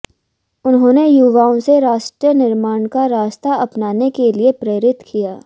उन्होंने युवाओं से राष्ट्र निर्माण का रास्ता अपनाने के लिए प्रेरित किया